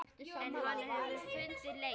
En hann hefur fundið leið.